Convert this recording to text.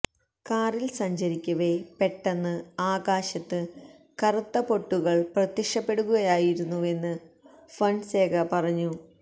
കാറില് സഞ്ചരിക്കവെ പെട്ടന്ന് ആകാശത്ത് കറുത്ത പൊട്ടുകള് പ്രത്യക്ഷപ്പെടുകയായിരുന്നുവെന്ന് ഫൊന്സേക പറഞ്ഞു